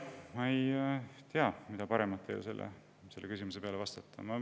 Ma ei tea, mida paremat teile selle küsimuse peale vastata.